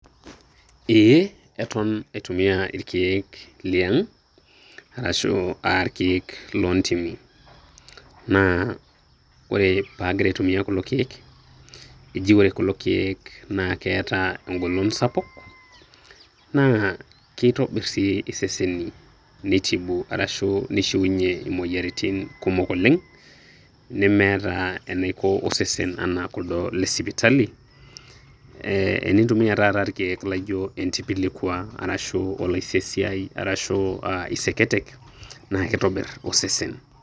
Eeh, eton aitumia ilkeek liang' arashu ilkeek loontimi. Naa ore paag'ira aitumia kulo keek, eji kore kulo keek naa keeta eng'olon sapuk, naa keitobir sii iseseni neitibu arashu neishuunye moyaritin kumok oleng' nemeeta eneiko osesen anaa kuldo le sipitali. Enintumia taata ilkeek loijo Entipilikwa arashu Olaisesiai arashu Iseketek naa keitobir osesen